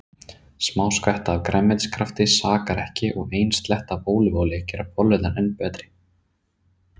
Smá skvetta af grænmetiskrafti sakar ekki og ein sletta af ólífuolíu gerir bollurnar enn betri.